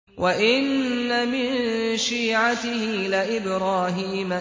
۞ وَإِنَّ مِن شِيعَتِهِ لَإِبْرَاهِيمَ